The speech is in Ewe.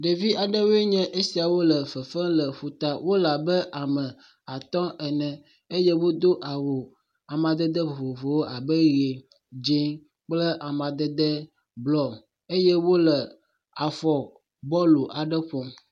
Ɖevi aɖewoe nye esiawo le fefem le ƒuta, wole abe ame atɔ̃ ene eye wodo awu amadede vovovowo abe ʋe, dze kple amadede blɔ eye wole afɔ bɔlu aɖe ƒom.